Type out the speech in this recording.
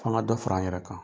Fo an ka fara an yɛrɛ kan